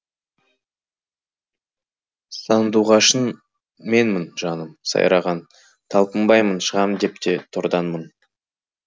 сандуғашың менмін жаным сайраған талпынбаймын шығам деп те тордан мың